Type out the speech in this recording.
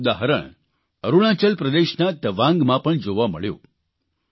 તેનું એક ઉદાહરણ અરૂણાચલ પ્રદેશના તવાંગમાં પણ જોવા મળ્યું